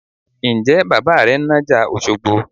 Ǹjẹ́ bàbà rẹ ń nájà Òṣogbo?